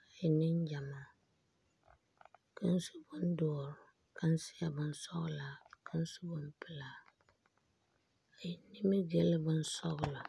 a e Nengyamaa kaŋ su bon doɔre , kaŋ seɛ bonsɔglaa ka kaŋa su bon pɛlaa a e nimigil bonsɔgla